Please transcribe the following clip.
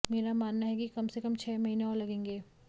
मेरा मानना है कि कम से कम छह महीने और लगेंगे